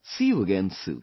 See you again soon